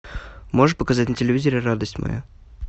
можешь показать на телевизоре радость моя